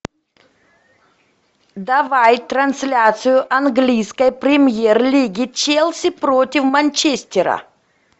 давай трансляцию английской премьер лиги челси против манчестера